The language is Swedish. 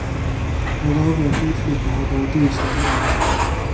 Våra övriga skidflickor har varit usla denna vinter.